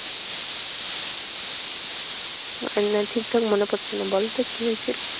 আমার না ঠিকঠাক মনে পড়ছে না। বলতো কি হয়েছিল?